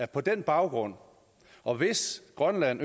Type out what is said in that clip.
på den baggrund og hvis grønland